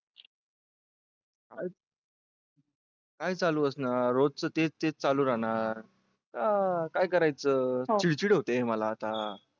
काय चालू असणार रोजच तेच ते चालू आहे काय करायचं चिडचिड होते मला आता.